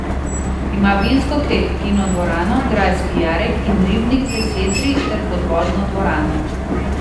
Ima vinsko klet, kinodvorano, grajski jarek in ribnik z jesetri ter podvodno dvorano.